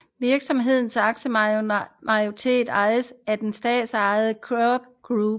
Virksomhedens aktiemajoritet ejes af det statsejede CITIC Group